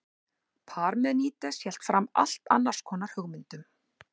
parmenídes hélt fram allt annars konar hugmyndum